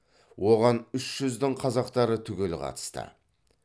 оған үш жүздің қазақтары түгел қатысты